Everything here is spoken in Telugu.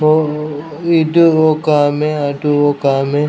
ఓ ఇటు ఒక ఆమె అటు ఒక ఆమె --